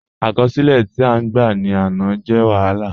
Akọsilẹ̀ ti a gbá ni áná jẹ̀ wahálà.